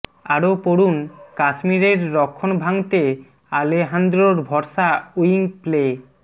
আরও পড়ুন কাশ্মীরের রক্ষণ ভাঙতে আলেহান্দ্রোর ভরসা উইং প্লে